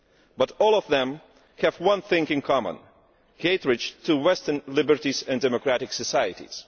But all of them have one thing in common hatred of Western liberties and democratic societies.